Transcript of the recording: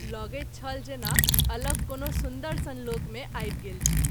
लगैत छल जेना अलग कोनो सुन्दर सन लोक मे आबि गेल छी।